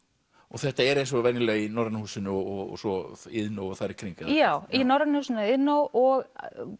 þetta er eins og venjulega í Norræna húsinu og svo Iðnó og þar í kring eða hvað já í Norræna húsinu og Iðnó og